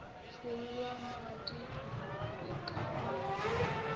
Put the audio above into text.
tšhollwa madi e ka ba